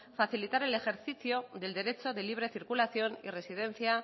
facilitar el ejercicio del derecho de libre circulación y residencia